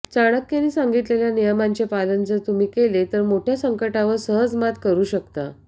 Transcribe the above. चाणक्यांनी सांगितलेल्या नियमांचे पालन जर तुम्ही केले तर मोठं मोठ्या संकटांवर सहज मात करू शकता